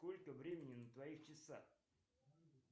сколько времени на твоих часах